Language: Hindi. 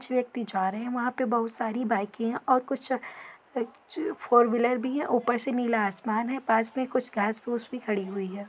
छ व्यक्ति जा रहे हैं वहाँ पर बहुत सारी बाइके हैं और कुछ फोरव्हीलर भी है और ऊपर से नीला आसमान है पास में कुछ घास फूस भी खड़ी हुई है।